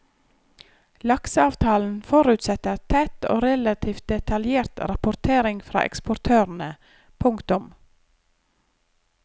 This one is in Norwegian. Lakseavtalen forutsetter tett og relativt detaljert rapportering fra eksportørene. punktum